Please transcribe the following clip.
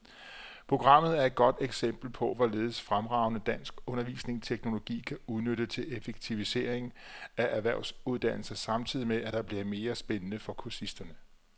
Programmet er et godt eksempel på, hvorledes fremragende dansk undervisningsteknologi kan udnyttes til effektivisering af erhvervsuddannelser samtidig med, at det bliver mere spændende for kursisterne.